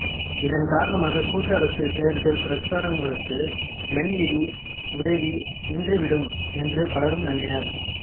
இதன் காரணமாக கூட்டரசு தேர்தல் பிரசாரங்களுக்கு மென் நிதி உதவி நின்றுவிடும் என்று பலரும் நம்பினர்